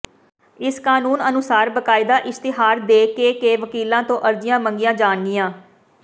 ਇਸ ਕਾਨੂੰਨ ਅਨੁਸਾਰ ਬਾਕਾਇਦਾ ਇਸ਼ਤਿਹਾਰ ਦੇ ਕੇ ਕੇ ਵਕੀਲਾਂ ਤੋਂ ਅਰਜ਼ੀਆਂ ਮੰਗੀਆਂ ਜਾਣਗੀਆਂ